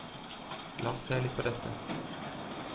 La oss se litt på dette.